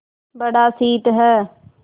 बड़ा शीत है